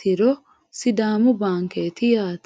tii sidaamu baankeeti yaate